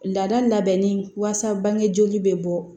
Laada labɛnni wasa bange joli bɛ bɔ